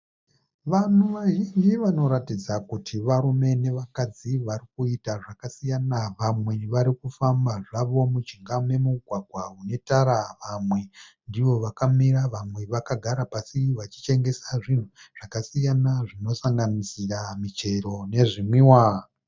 Vanhu vazhinji vanoratidza kuti varume ne vakadzi varikuita zvakasiyana vamwe varikufamba zvavo mujinga me mugwagwa une tara vamwe ndivo vakamira vamwe vakagara pasi vachitengesa zvinhu zvakasiyana zvinosanganisura muchero ne zvinwiwa.